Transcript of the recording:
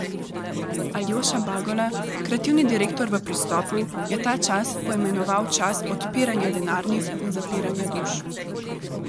Aljoša Bagola, kreativni direktor v Pristopu, je ta čas poimenoval čas odpiranja denarnic in zapiranja duš.